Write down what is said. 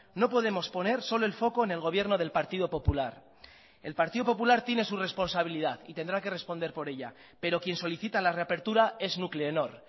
no podemos poner solo el foco en el gobierno del partido popular el partido popular tiene su responsabilidad y tendrá que responder por ella pero quien solicita la reapertura es nuclenor